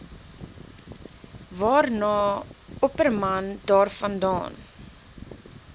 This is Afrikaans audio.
waarna opperman daarvandaan